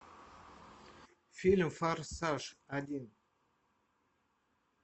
фильм форсаж один